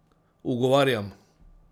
Ugovarjam!